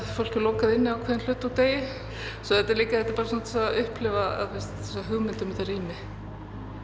fólk lokað inni ákveðinn hluta úr degi svo þetta er líka til að upplifa hugmynd um þetta rými